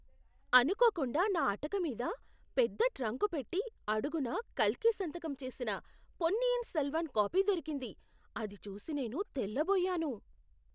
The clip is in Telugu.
అనుకోకుండా నా అటక మీద పెద్ద ట్రంకుపెట్టి అడుగున కల్కి సంతకం చేసిన పొన్నియిన్ సెల్వన్ కాపీ దొరికింది. అది చూసి నేను తెల్లబోయాను!